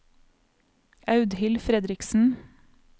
Audhild Fredriksen